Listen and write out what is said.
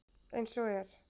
Eins og er.